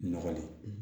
Nɔgɔ le